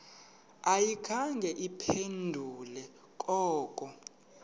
ayikhange iphendule koko